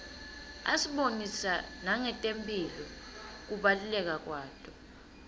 asibonisa nangetemphilo kubaluleka kwato